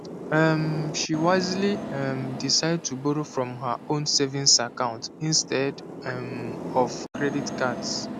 um she wisely um decide to borrow from her own savings account instead um of credit cards